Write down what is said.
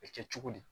A bɛ kɛ cogo di